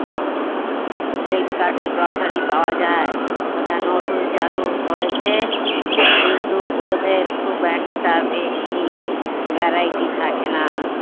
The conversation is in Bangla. ফ্লিপকার্টে grocery পাওয়া যায় ওটা নতুন চালু হয়েছে কিন্তু ওদের খুব একটা বেশি variety থাকে না